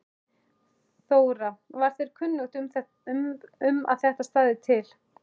Þóra: Var þér kunnugt um að þetta stæði til?